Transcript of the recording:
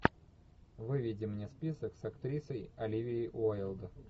выведи мне список с актрисой оливией уайлд